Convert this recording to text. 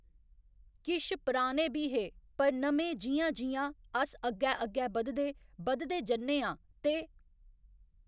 किश पराने बी हे पर नमें जि'यां जि'यां अस अग्गै अग्गै बधदे, बधदे जन्ने आं ते